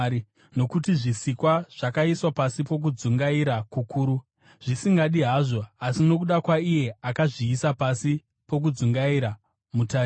Nokuti zvisikwa zvakaiswa pasi pokudzungaira kukuru, zvisingadi hazvo, asi nokuda kwaiye akazviisa pasi pokudzungaira, mutariro